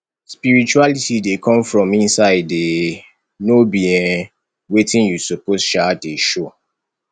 spirituality dey come from inside um no be um wetin you suppose um dey show